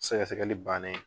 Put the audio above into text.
Sɛgɛsɛgɛli bannen.